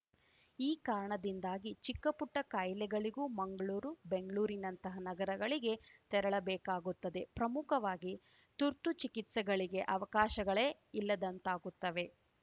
ಈ ಕಾರಣದಿಂದಾಗಿ ಚಿಕ್ಕಪುಟ್ಟಕಾಯಿಲೆಗಳಿಗೂ ಮಂಗ್ಳೂರು ಬೆಂಗ್ಳೂರಿನಂತ ನಗರಗಳಿಗೆ ತೆರಳಬೇಕಾಗುತ್ತದೆ ಪ್ರಮುಖವಾಗಿ ತುರ್ತು ಚಿಕಿತ್ಸೆಗಳಿಗೆ ಅವಕಾಶಗಳೇ ಇಲ್ಲದಂತಾಗುತ್ತವೆ